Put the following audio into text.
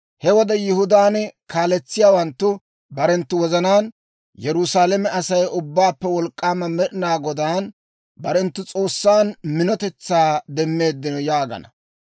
He wode Yihudaan kaaletsiyaawanttu barenttu wozanaan, ‹Yerusaalame Asay Ubbaappe Wolk'k'aama Med'inaa Godaan, barenttu S'oossan, minotetsaa demmeeddino› yaagana.